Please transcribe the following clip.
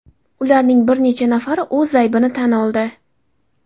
Ularning bir necha nafari o‘z aybini tan oldi.